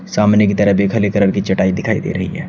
सामने की तरफ एक हले कलर की चटाई दिखाई दे रही है।